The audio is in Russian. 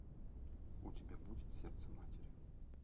у тебя будет сердце матери